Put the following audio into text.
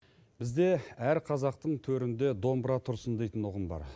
бізде әр қазақтың төрінде домбыра тұрсын дейтін ұғым бар